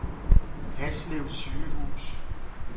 Haslev Sygehus